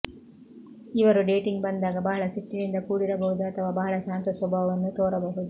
ಇವರು ಡೇಟಿಂಗ್ ಬಂದಾಗ ಬಹಳ ಸಿಟ್ಟಿನಿಂದ ಕೂಡಿರಬಹುದು ಅಥವಾ ಬಹಳ ಶಾಂತ ಸ್ವಭಾವವನ್ನು ತೋರಬಹುದು